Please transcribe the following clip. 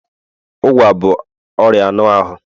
Ụgwa bụ ọrịa anụ ahụ